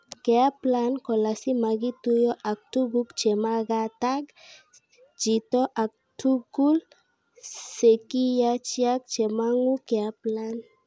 Keaplain kolasimakituyot ak tukut chemagatag jitoo ag tukul sekiyajiak chemangu keaplain.